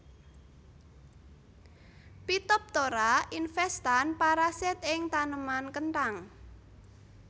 Phytopthora infestan parasit ing taneman kenthang